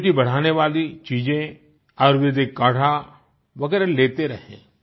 immunity बढ़ाने वाली चीजें आयुर्वेदिक काढ़ा वगैरह लेते रहें